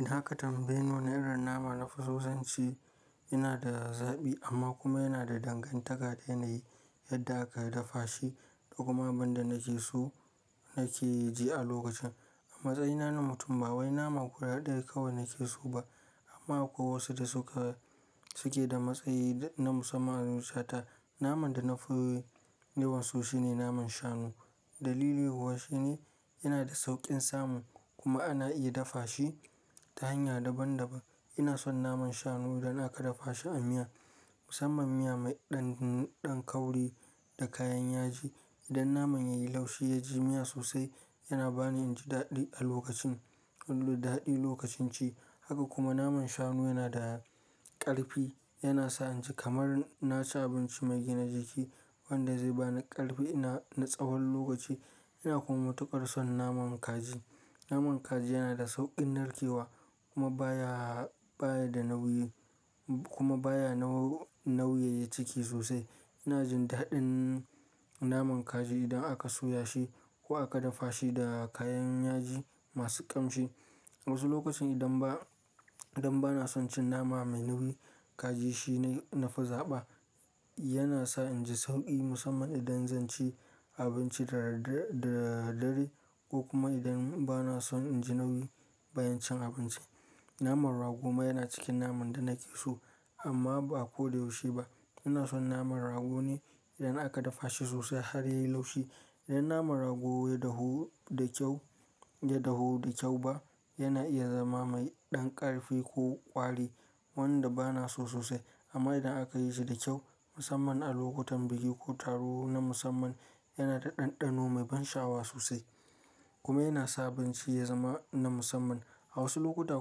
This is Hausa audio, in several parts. Idan aka tambaye ni, wane irin nama nafiso zanci yana da zabi amma kuma yana da dangantaka da yanayi yadda aka dafa shi da kuma abin da nake so nake ji a lokacin. A matsayina na mutum ba wai naman kwaya ɗaya kawai nake so ba amma akwai wasu da suke da matsayi na musamman musata. Naman da na fi yawan so shine naman shanu. Dalili kuwa shine yana da sauƙin samu kuma ana iya dafa shi ta hanya daban daban. Ina son naman shanu idan aka dafa shi a miya, musamman miya mai ɗan kauri da kayan yaji. Idan naman yayi laushi ya ji miya sosai yana bani in ji daɗi a lokacin, daɗi lokacin ci. Haka kuma naman shanu yana da ƙarfi, yana sa in ji kamar na ci abinci mai gina jiki wanda zai ba ni ƙarfi na tsawon lokaci. Ina kuma tukar son naman kaji. Naman kaji yana da sauƙin narkewa kuma baya, baya da nauyi kuma baya nauyaya ciki sosai. Ina jin daɗin naman kaji idan aka soya shi ko aka dafa shi da kayan yaji masu ƙamshi. A wasu lokacin idan ba, idan ba na son cin nama mai nauyi kaji shine nafi zaɓa. Yana sa in ji sauƙi musamman idan zan ci abinci da dare ko kuma idan ba na son in ji nauyi bayan cin abinci. Naman rago ma yana cikin naman da nake so amma ba a ko da yaushe ba. Ina son naman rago ne idan aka dafa shi sosai har yayi laushi. Idan naman rago ya dahu da kyau, ya dahu da kyau ba yana iya zama mai ɗan ƙarfi ko ƙwari wanda ba na so sosai. Amma idan aka yi shi da kyau musamman a lokutan biki ko taro na musamman yana da ɗanɗano mai ban sha'awa sosai kuma yana sa abinci ya zama na musamman. A wasu lokuta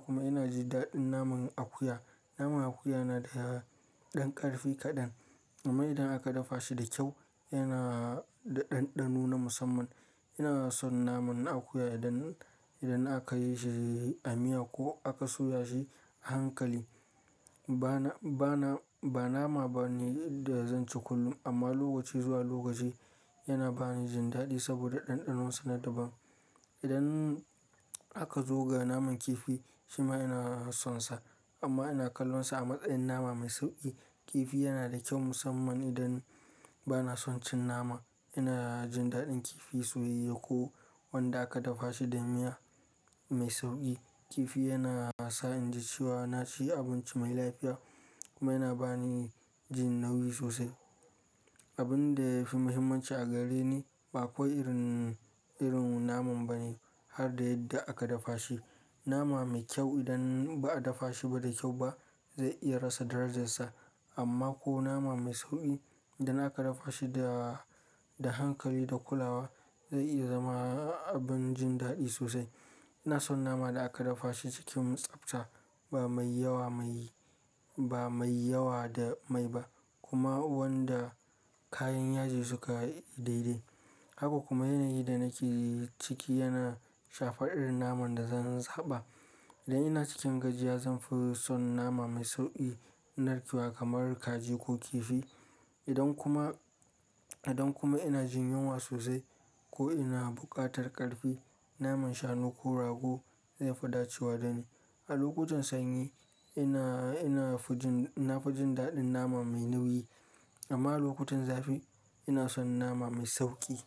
kuma ina ji daɗin naman akuya. Naman akuya yana da ɗan ƙarfi kaɗan amma idan aka dafa shi da kyau yana da ɗanɗano na musamman. Ina son naman akuya idan, idan aka yi shi a miya ko aka soya shi a hankali. Ba na, ba na, ba nama bane da zan ci kullum amma lokaci zuwa lokaci yana bani jin daɗi saboda ɗanɗanonsa na daban. Idan aka zo ga naman kifi shi ma ina sonsa amma ina kallonsa a matsayin nama mai sauƙi. Kifi yana da kyau musamman idan ba na son cin nama. Ina jin daɗin kifi soyayye ko wanda aka dafa shi da miya mai sauƙi. Kifi yana sa in ji cewa na ci abinci mai lafiya kuma yana ba ni jin nauyi sosai. Abin da ya fi muhimmanci a gare ni ba kawai irin, irin naman bane har da yadda aka dafa shi. Nama mai kyau idan ba a dafa shi ba da kyau ba zai iya rasa darajarsa amma ko nama mai sauƙi idan aka dafa shi da, da hankali da kulawa zai iya zama abin jin daɗi sosai. Ina son nama da aka dafa shi cikin tsabta ba mai yawa mai, ba mai yawa da mai ba kuma wanda kayan yaji suka daidai. Haka kuma yanayi da nake ciki yana shafar irin naman da zan zaɓa. Idan ina cikin gajiya zan fi son nama mai sauƙi narkewa kamar kaji ko kifi. Idan kuma, idan kuma ina jin yunwa sosai ko ina buƙatar ƙarfi naman shanu ko rago zai fi dacewa da ni. A lokutan sanyi ina, ina fi jin, ina fi jin daɗin nama mai nauyi amma lokutan zafi ina son nama mai sauƙi.